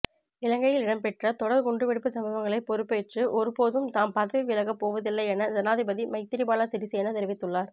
இலங்கையில் இடம்பெற்ற தொடர் குண்டு வெடிப்புச் சம்பவங்களை பொறுப்பேற்று ஒருபோதும் தாம் பதவிவிலகப் போவதில்லையென ஜனாதிபதி மைத்திரிபால சிறிசேன தெரிவித்துள்ளார்